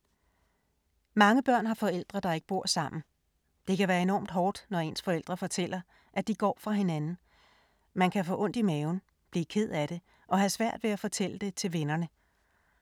Mange børn har forældre, der ikke bor sammen. Det kan være enormt hårdt, når ens forældre fortæller, at de går fra hinanden. Man kan få ondt i maven, blive ked af det og have svært ved at fortælle det til vennerne.